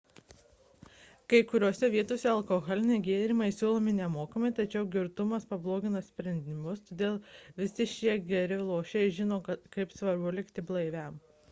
kai kuriose vietose alkoholiniai gėrimai siūlomi nemokamai tačiau girtumas pablogina sprendimus todėl visi geri lošėjai žino kaip svarbu likti blaiviam